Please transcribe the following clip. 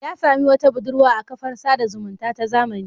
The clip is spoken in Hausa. Ya sami wata budurwa a kafar sada zumunta ta zamani.